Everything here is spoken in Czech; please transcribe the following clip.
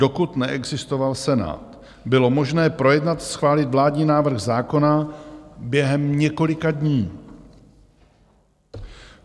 Dokud neexistoval Senát, bylo možné projednat, schválit vládní návrh zákona během několika dní.